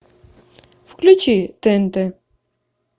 включи тнт